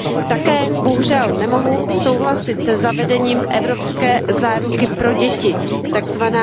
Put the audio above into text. Také bohužel nemohu souhlasit se zavedením evropské záruky pro děti, tzv.